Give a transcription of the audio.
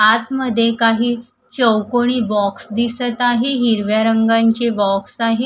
आतमध्ये काही चौकोनी बॉक्स दिसत आहे हिरव्या रंगांची बॉक्स आहे.